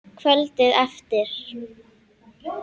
Kvöldið eftir.